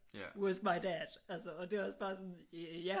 With my dad altså og det er også bare sådan ja